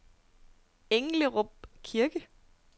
Englerup Kirke